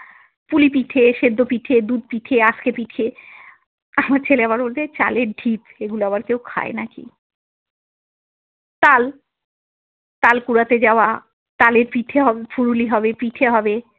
পুলি পিঠে সেদ্ধ পিঠে দুধ পিঠে আজকে পিঠে আমার ছেলে আবার বলবে চালের ঢিপ এগুলো আবার কেউ খায় নাকি, তাল, তাল কুড়াতে যাওয়া তালের পিঠে হবে, ফুলুরি হবে, পিঠে হবে।